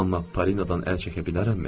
Amma Parinodan əl çəkə bilərəmmi?